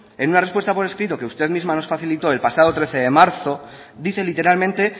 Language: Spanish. en una respuesta por escrito que usted misma nos facilitó el pasado trece de marzo dice literalmente